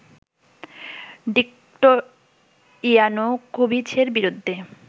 Victor ইয়ানুকোভিচের বিরুদ্ধে